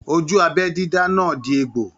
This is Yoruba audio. Ojú abẹ dídá náà di egbò.